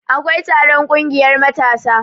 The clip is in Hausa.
akwai taron ƙungiyar matasa